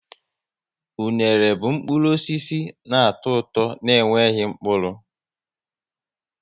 Unere bụ mkpụrụ osisi na atọ ụtọ n' enweghị mkpụrụ